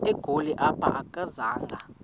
egoli apho akazanga